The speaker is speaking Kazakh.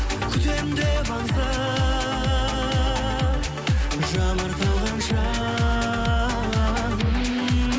күтемін деп аңса жанар талғанша м